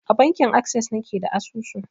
A bankin akses na ke da asusu.